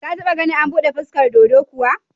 Ka taɓa ganin an buɗe furkar dodo kuwa?